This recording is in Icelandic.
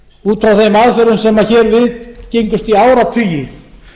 út afla þeim aðferðum sem viðgengust í áratugi